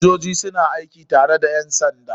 Sojoji suna aiki tare da ƴansanda